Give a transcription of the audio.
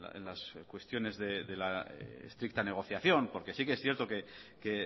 en las cuestiones de la estricta negociación porque sí que es cierto que